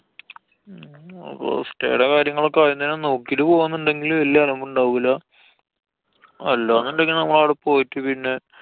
അപ്പൊ stay ടെ കാര്യങ്ങളൊക്കെ ആദ്യം തന്നെ നോക്കിട്ട് പോവന്നുണ്ടെങ്കില് വല്യ അലമ്പുണ്ടാവൂല. അല്ലാന്നുണ്ടെങ്കില്‍ നമ്മളു അവടെ പോയിട്ട് പിന്നെ